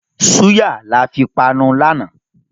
Súyà là fi panu lànà